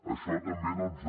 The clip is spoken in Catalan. això també doncs